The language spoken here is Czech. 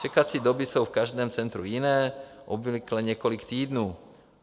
Čekací doby jsou v každém centru jiné, obvykle několik týdnů.